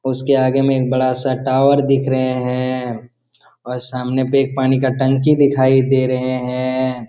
और उसके आगे में एक बडासा टॉवर दिख रहे है और सामने पे एक पानी का टंकी दिखाई दे रहे है।